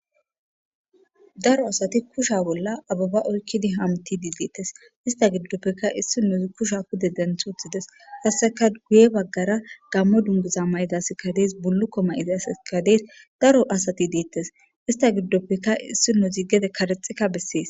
Daro asati kushiya bolla abeba oykidi hamutishe de'etes ista gidoppeka issinozi kushiya pude denthi wothides qaseka guye bagara gamo dunguza mayida asatika detes afila mayida asati detes buluko mayida asati detes daro asati detes.